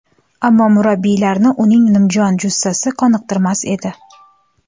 Ammo murabbiylarni uning nimjon jussasi qoniqtirmas edi.